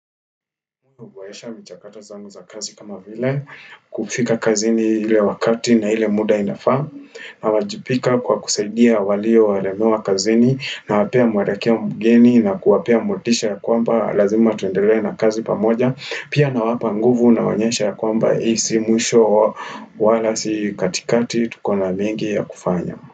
Huboresha michakato zangu za kazi kama vile, kufika kazini ile wakati na ile muda inafaa. Nawajibika kwa kusaidia waliolemewa kazini nawapea mwelekeo mgeni na kuwapea motisha ya kwamba lazima tuendelee na kazi pamoja. Pia nawapa nguvu nawaonyesha ya kwamba hii si mwisho wala si katikati tukona mengi ya kufanya.